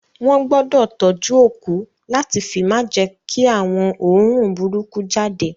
Wọn gbọdọ tọjú òkú lati fi ma jẹ kí àwọn oorun burúkú jáde.